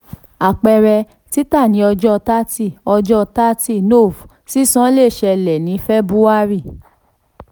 àpẹẹrẹ: títà ní ọjọ́ thirty ọjọ́ thirty nov sísan le ṣẹlẹ̀ ni february.